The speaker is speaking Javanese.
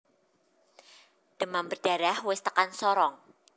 Demam berdarah wis tekan Sorong